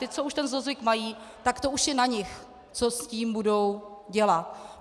Ti, co už ten zlozvyk mají, tak teď už je na nich, co s tím budou dělat.